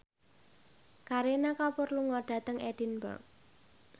Kareena Kapoor lunga dhateng Edinburgh